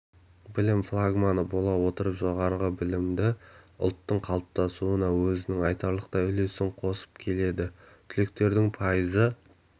білім флагманы бола отырып жоғары білімді ұлттың қалыптасуына өзінің айтарлықтай үлесін қосып келеді түлектердің пайызы